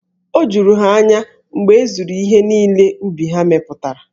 O juru ha anya mgbe e zuru ihe niile ubi ha mepụtara.